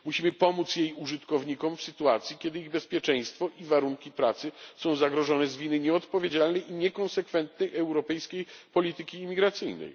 Musimy pomóc jej użytkownikom w sytuacji, kiedy ich bezpieczeństwo i warunki pracy są zagrożone z winy nieodpowiedzialnej i niekonsekwentnej europejskiej polityki imigracyjnej.